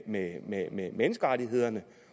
med med menneskerettighederne